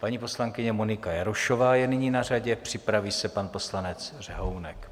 Paní poslankyně Monika Jarošová je nyní na řadě, připraví se pan poslanec Řehounek.